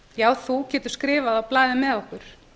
já þú getir skrifað á blaðið með okkur